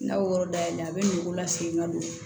N'a y'o yɔrɔ dayɛlɛ a bɛ nogo la segin ka don